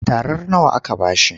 Tarar nawa aka ba shi?